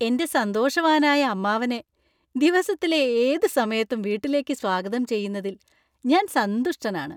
എന്‍റെ സന്തോഷവാനായ അമ്മാവനെ ദിവസത്തിലെ ഏത് സമയത്തും വീട്ടിലേക്ക് സ്വാഗതം ചെയ്യുന്നതിൽ ഞാൻ സന്തുഷ്ടനാണ്.